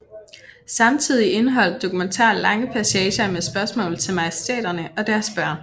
Samtidig indeholdt dokumentaren lange passager med spørgsmål til majestæterne og deres børn